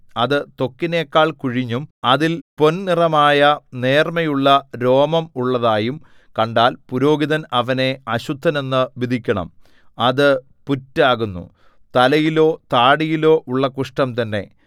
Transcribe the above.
അത് ത്വക്കിനെക്കാൾ കുഴിഞ്ഞും അതിൽ പൊൻനിറമായ നേർമ്മയുള്ള രോമം ഉള്ളതായും കണ്ടാൽ പുരോഹിതൻ അവനെ അശുദ്ധനെന്നു വിധിക്കണം അത് പുറ്റാകുന്നു തലയിലോ താടിയിലോ ഉള്ള കുഷ്ഠം തന്നെ